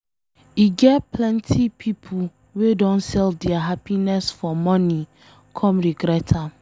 E get plenty pipo wey don sell dia happiness for money come regret am